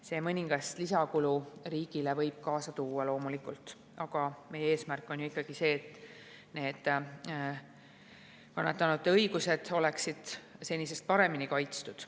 See võib riigile loomulikult kaasa tuua mõningast lisakulu, aga meie eesmärk on ikkagi see, et kannatanute õigused oleksid senisest paremini kaitstud.